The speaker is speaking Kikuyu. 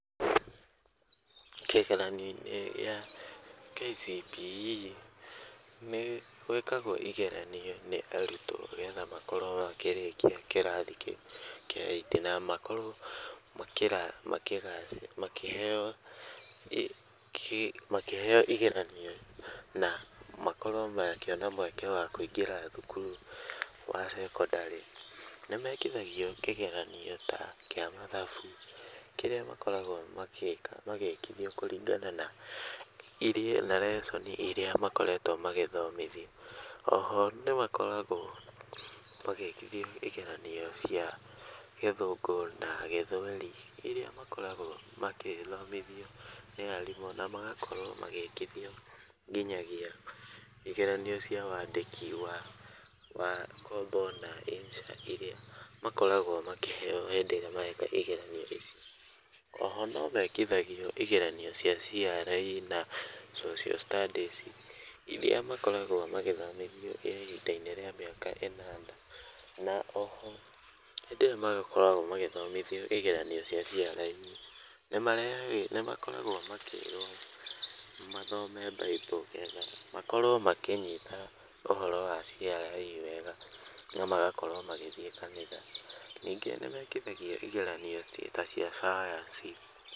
Kĩgeranio-inĩ gĩa KCPE nĩ gwĩkagwo igeranio nĩ arutwo nĩgetha makorwo makĩrĩkia kĩrathi kĩu kĩa eight na makorwo makĩheo igeranio na makorwo makĩona mweke wa kũingĩra thukuru wa sekondarĩ. Nĩ mekithagio kĩgerio ta kĩa mathabu kĩrĩa makoragwo magĩkithio kũringana na lesson irĩa makoretwo magĩthomithio. O ho nĩ makoragwo magĩkithio igeranio cia gĩthũngũ na gĩthweri, irĩa makoragwo magĩthomithio nĩ arimũ na magakorwo magĩkithio nginyagia igeranio cia wandĩki wa composition na insha irĩa makoragwo makĩheo hĩndĩ ĩyo mareka igeranio icio. O ho no mekithagio igeranio cia CRE na Social Studies, irĩa makoragwo magĩthomithio ihinda-inĩ rĩa mĩaka ĩnana. Na o ho hĩndĩ ĩrĩa magĩkoragwo magĩthomithio igeranio cia CRE, nĩ marehagĩrwo nĩ makoragwo makĩĩrwo mathome Bible getha makorwo makĩnyita ũhoro wa CRE wega na magakorwo magĩthiĩ kanitha. Ningĩ nĩ mekithagio igeranio ta cia Sayansi...